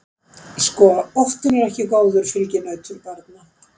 Sko óttinn er ekki góður fylginautur barna.